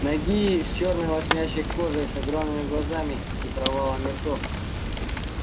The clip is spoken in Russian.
нагие с чёрной лоснящейся кожей с огромными глазами и провалами ртов